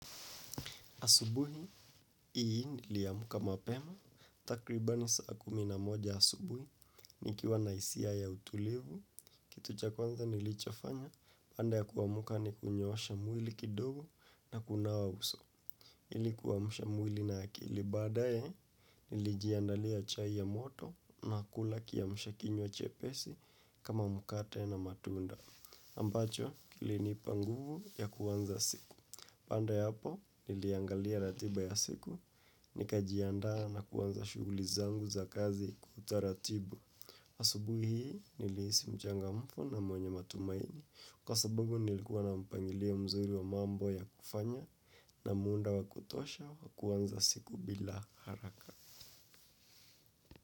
Asubuhi, hii niliamka mapema, takribani saa kumi na moja asubuhi, nikiwa na hisia ya utulivu, kitu cha kwanza nilichofanya, baada ya kuamuka ni kunyoosha mwili kidogo na kunawa uso, ili kuamsha mwili na akili, baadaye nilijiandalia chai ya moto na kula kiamsha kinywa chepesi kama mkate na matunda, ambacho kilinipa nguvu ya kuanza siku. Baada ya hapo, niliangalia ratiba ya siku, nikajianda na kuanza shughuli zangu za kazi taratibu. Asubuhi hii, nilihisi mchangamfu na mwenye matumaini. Kwa sababu nilikuwa na mpangilio mzuri wa mambo ya kufanya na muda wa kutosha wa kuanza siku bila haraka.